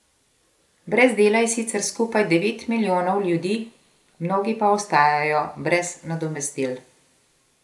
Brez dela je sicer skupaj devet milijonov ljudi, mnogi pa ostajajo brez nadomestil.